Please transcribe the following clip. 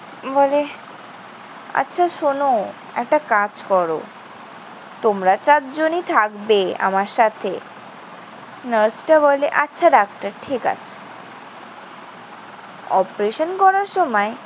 বলে, আচ্ছা শোন, একটা কাজ করো। তোমরা চারজনই থাকবে আমার সাথে। নার্সটা বলে, আচ্ছা, ডাক্তার ঠিক আছে। operation করার সময়